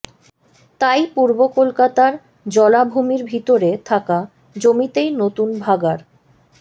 তাই পূর্ব কলকাতার জলাভূমির ভিতরে থাকা জমিতেই নতুন ভাগাড়